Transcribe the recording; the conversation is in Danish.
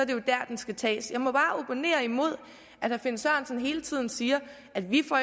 det dér den skal tages jeg må bare opponere imod at herre finn sørensen hele tiden siger at vi